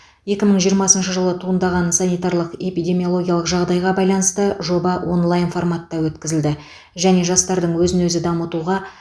екі мың жиырмасыншы жылы туындаған санитарлық эпидемиологиялық жағдайға байланысты жоба онлайн форматта өткізілді және жастардың өзін өзі дамытуға